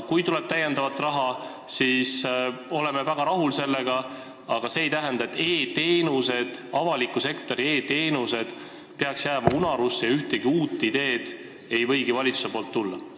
Kui tuleb täiendavat raha, siis oleme sellega väga rahul, aga see ei tähenda, nagu avaliku sektori e-teenused peaksid jääma unarusse ja ühtegi uut ideed ei võigi valitsuselt tulla.